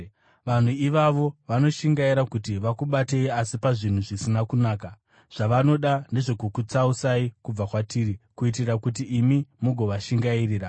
Vanhu ivavo vanoshingaira kuti vakubatei, asi pazvinhu zvisina kunaka. Zvavanoda ndezvokukutsausai kubva kwatiri, kuitira kuti imi mugovashingairira.